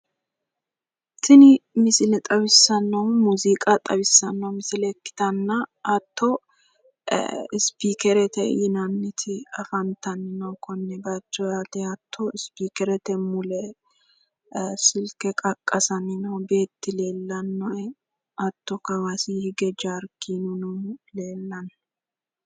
Tini misile xawisanohu muziiqa xawisanotta misile ikkitanna hattono isipikerete yinanniti leelittanoe hattono mule silke qaqasani noo beeti leelanohe hattono kawasini hige noohu jarkenu leelano